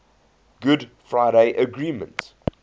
good friday agreement